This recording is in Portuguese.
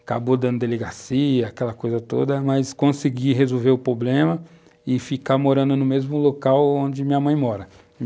Acabou dando delegacia, aquela coisa toda, mas consegui resolver o problema e ficar morando no mesmo local onde minha mãe mora.